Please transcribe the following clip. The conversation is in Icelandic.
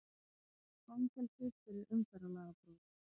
Fangelsi fyrir umferðarlagabrot